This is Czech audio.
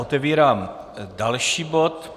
Otevírám další bod.